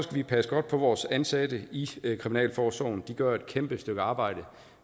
vi passe godt på vores ansatte i kriminalforsorgen for de gør et kæmpe stykke arbejde